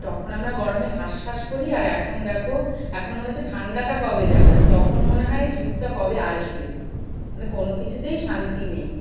তখন আমরা গরমে হাঁস-ফাঁস করি আর এখন দেখো এখন মনে হচ্ছে ঠাণ্ডা টা কবে যাবে, আর তখন মনে হয় শীত তা কবে আসবে, মানে কোনো কিছুতেই শান্তি নেই।